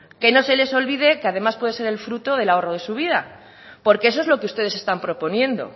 que no se les olvide que además puede ser el fruto del ahorro de su vida porque eso es lo que ustedes están proponiendo